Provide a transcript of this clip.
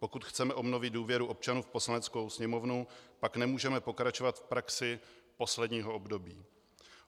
Pokud chceme obnovit důvěru občanů v Poslaneckou sněmovnu, pak nemůžeme pokračovat v praxi posledního období.